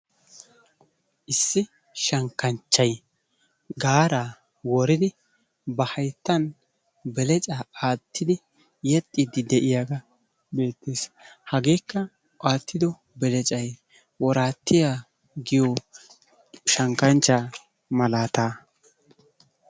Issi shankkanchcay gaara woridi ba hayttan belecaa wottidi yexxiiddi de'iyaaga beettees. Hageekka wottido beleccay woratiyaa giyo shankanchcha malaata.